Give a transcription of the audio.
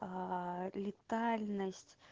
а летальность